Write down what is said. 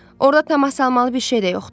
Orda tamaşa salmalı bir şey də yoxdur.